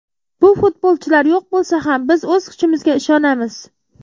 Bu futbolchilar yo‘q bo‘lsa ham biz o‘z kuchimizga ishonamiz.